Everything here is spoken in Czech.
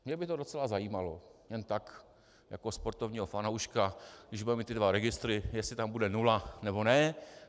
Mě by to docela zajímalo jen tak jako sportovního fanouška, když budeme mít ty dva registry, jestli tam bude nula, nebo ne.